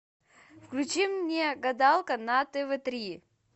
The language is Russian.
включи мне гадалка на тв три